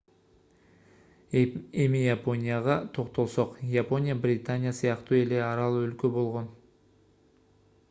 эми японияга токтолсок япония британия сыяктуу эле арал өлкө болгон